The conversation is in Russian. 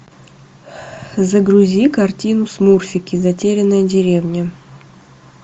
загрузи картину смурфики затерянная деревня